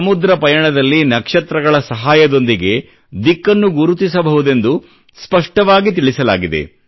ಸಮುದ್ರ ಪಯಣದಲ್ಲಿ ನಕ್ಷತ್ರಗಳ ಸಹಾಯದೊಂದಿಗೆ ದಿಕ್ಕನ್ನು ಗುರುತಿಸಬಹುದೆಂದು ಸ್ಪಷ್ಟವಾಗಿ ತಿಳಿಸಲಾಗಿದೆ